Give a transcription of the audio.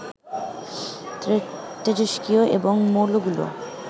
তেজস্ক্রিয় এবং মৌলগুলো